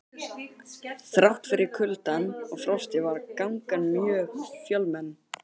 Þrátt fyrir kuldann og frostið var gangan mjög fjölmenn.